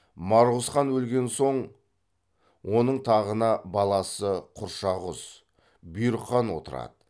марғұз хан өлген соң оның тағына баласы құршағұз бұйрық хан отырады